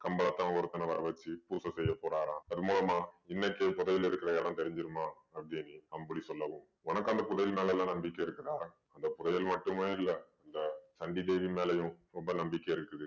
கம்பளத்தான் ஒருத்தனை வர வச்சு பூசை செய்ய போறாராம். அது மூலமா இன்னைக்கே புதையல் இருக்குற இடம் தெரிஞ்சுருமாம் அப்படீன்னு அம்புலி சொல்லவும் உனக்கு அந்த புதையல் மேல எல்லாம் நம்பிக்கை இருக்குதா. அந்த புதையல் மட்டுமே இல்ல அந்த சண்டி தேவி மேலயும் ரொம்ப நம்பிக்கை இருக்குது.